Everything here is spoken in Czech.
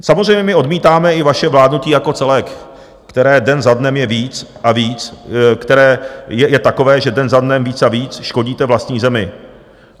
Samozřejmě my odmítáme i vaše vládnutí jako celek, které den za dnem je víc a víc... které je takové, že den za dnem víc a víc škodíte vlastní zemi.